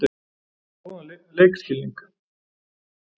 Hann er með góðan leikskilning.